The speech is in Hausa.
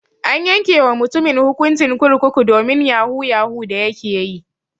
An yanke wa mutumin hukuncin kurkuku domin yahu yahu da yake ƴi.